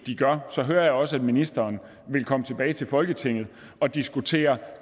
så hører jeg også at ministeren vil komme tilbage til folketinget og diskutere